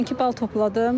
92 bal topladım.